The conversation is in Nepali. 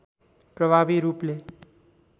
प्रभावी रूपले